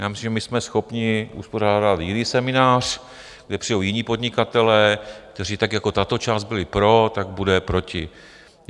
Já myslím, že my jsme schopni uspořádat jiný seminář, kde přijdou jiní podnikatelé, kteří, tak jako tato část byli pro, tak budou proti.